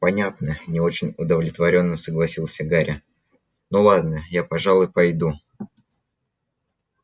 понятно не очень удовлетворённо согласился гарри ну ладно я пожалуй пойду